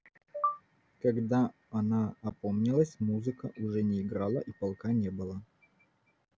когда она опомнилась музыка уже не играла и полка не было